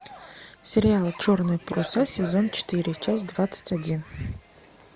сериал черные паруса сезон четыре часть двадцать один